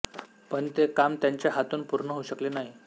पण ते काम त्यांच्या हातून पूर्ण होऊ शकले नाही